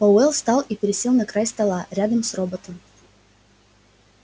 пауэлл встал и пересел на край стола рядом с роботом